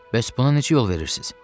Bəs buna necə yol verirsiz?